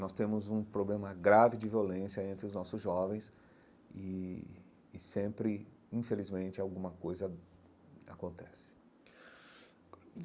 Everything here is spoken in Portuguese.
Nós temos um problema grave de violência entre os nossos jovens e sempre, infelizmente, alguma coisa acontece.